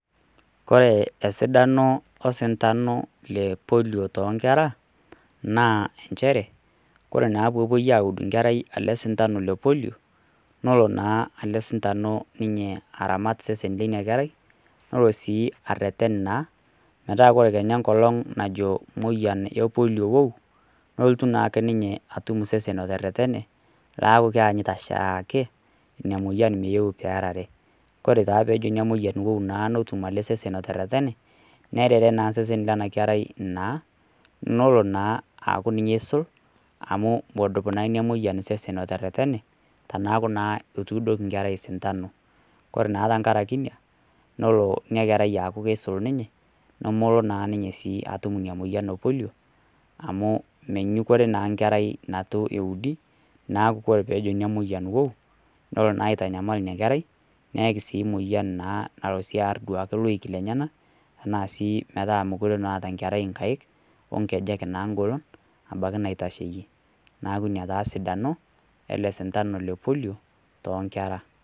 Kore esidano le osintano le Polio too inkera, naa nchere, ore naa peepuoi aud enkerai ee sintano le Polio, nelo naa ele sintanu alo aramat osesn le ina kerai, nelo sii areten ina kerai, metaa ore sii enkolong' naa najo emoyian e Polio wuou, nelotu naake ninye atum osesen oteretene, laaku keanyita oshiaake, ina moyian meeu pee earare. Ore naa peejo ina moyian meeu netum ele sesen oteretene, nearare osesen lena kerai naa, nelo naa aku ninye oisul, amu medup naa ina moyian osesen oteretene, teneaku naa etuudoki enkerai osintanu, kore naa tenkaraki ina, nelo ina kerai aaku keisul ninye , nemelo naa ninye sii atum ina moyian e Polio, amu menyukore naa enkerai, neitu eudi, neaku ore pee ejo ina moyian wuou, nelo naa aitanyamal ina kerai, neaki naa emoyian nalo sii duake aar iloik llenyena, anaa sii mekure eata enkerai inkaik, onkejek naagolu naabaiki neitasheiyie. Neaku ina taa esidano ele sintano le Polio, toonkera.